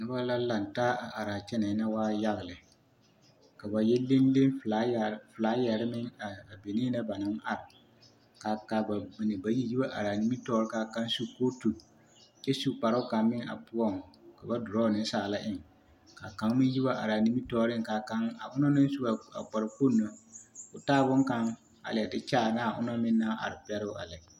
Noba la lantaa a araa kyɛnɛɛ na waa yaga lɛ, ka ba yɛ leŋ leŋ filaayare, filaayare meŋ a benee na ba naŋ are k'a bamine bayi yi wa are a nimitɔɔre k'a kaŋ su kootu kyɛ su kparoo kaŋ meŋ a poɔŋ ka ba duroɔ nensaala eŋ, ka kaŋ meŋ yi wa araa nimitɔɔreŋ ka kaŋ, a onaŋ su a kpare kpoŋ na k'o taa boŋkaŋ a leɛ de kyaare onaŋ meŋ naŋ are pɛroo a lɛ.